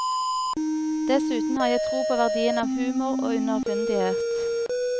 Dessuten har jeg tro på verdien av humor og underfundighet.